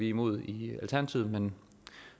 imod i alternativet men